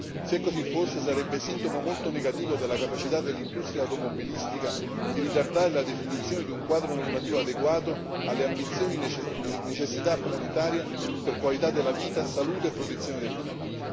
6. Se così fosse, sarebbe sintomo molto negativo della capacità dell'industria automobilistica di ritardare la definizione di un quadro normativo adeguato alle ambizioni di necessità planetaria per qualità della vita, salute e protezione del clima.